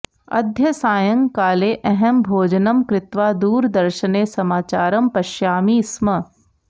अद्य सायंकाले अहं भोजनं कृत्वा दूरदर्शने समाचारं पश्यामि स्म